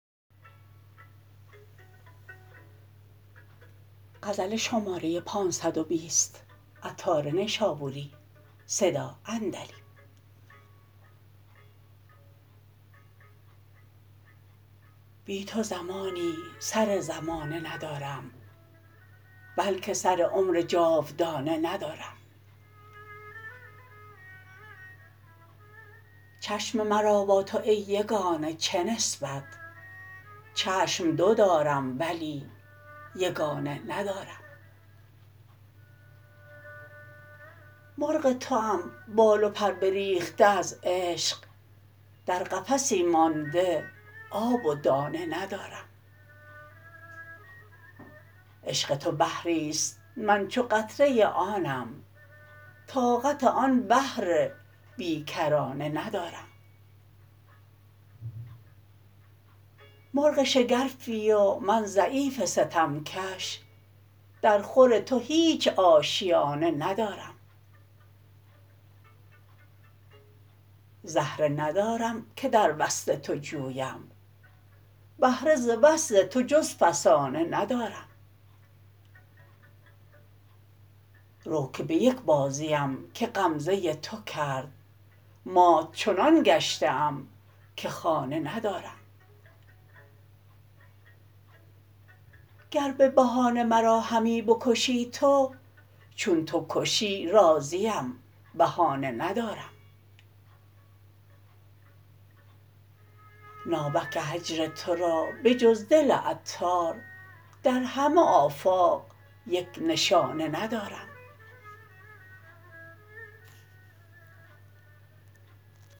بی تو زمانی سر زمانه ندارم بلکه سر عمر جاودانه ندارم چشم مرا با تو ای یگانه چه نسبت چشم دو دارم ولی یگانه ندارم مرغ توام بال و پر بریخته از عشق در قفسی مانده آب و دانه ندارم عشق تو بحری است من چو قطره آبم طاقت آن بحر بی کرانه ندارم مرغ شگرفی و من ضعیف ستم کش در خور تو هیچ آشیانه ندارم زهره ندارم که در وصل تو جویم بهره ز وصل تو جز فسانه ندارم رو که به یک بازیم که غمزه تو کرد مات چنان گشته ام که خانه ندارم گر به بهانه مرا همی بکشی تو چو تو کشی راضیم بهانه ندارم ناوک هجر تو را به جز دل عطار در همه آفاق یک نشانه ندارم